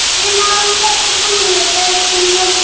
мен ауылда тұрғым келеді өзіңмен